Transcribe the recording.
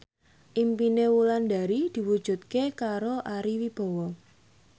impine Wulandari diwujudke karo Ari Wibowo